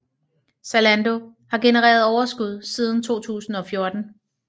Zalando har genereret overskud siden 2014